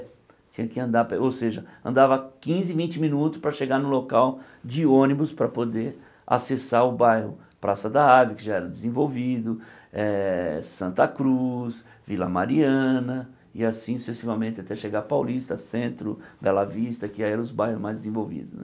Tinha que andar a pé ou seja, andava quinze, vinte minutos para chegar no local de ônibus para poder acessar o bairro Praça da Árvore, que já era desenvolvido eh, Santa Cruz, Vila Mariana, e assim sucessivamente até chegar a Paulista, Centro, Bela Vista, que eram os bairros mais desenvolvidos né.